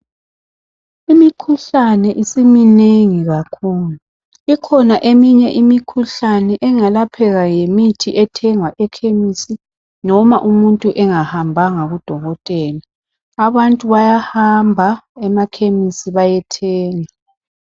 Imikhuhlane isiminengi kakhulu ikhona eminye imikhuhlane engalapheka ngemithi ethengwa ekhemisi noma umuntu engahambanga kudokotela .Abantu bayahamba emakhemisi bayethenga .